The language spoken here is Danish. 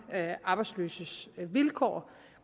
arbejdsløses vilkår